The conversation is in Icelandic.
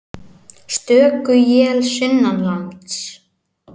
Stöku él sunnanlands